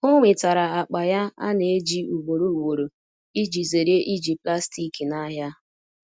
o nwetara akpa ya ana eji ugboro ugboro iji zere iji plastik na ahia